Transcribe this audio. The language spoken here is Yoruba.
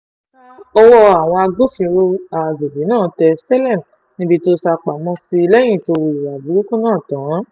ṣá o ọwọ́ àwọn agbófinró àgbègbè náà tẹ saleem níbi tó sá pamọ́ sí lẹ́yìn tó hùwà burúkú náà tán